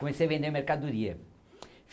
Comecei a vender mercadoria.